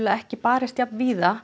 ekki barist jafn víða